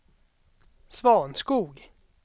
Svanskog